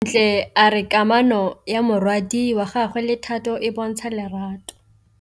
Bontle a re kamanô ya morwadi wa gagwe le Thato e bontsha lerato.